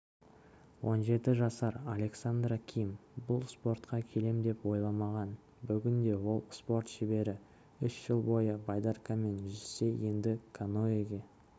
он жеті жасар александра ким бұл спортқа келем деп ойламаған бүгінде ол спорт шебері үш жыл бойы байдаркамен жүзсе енді каноэге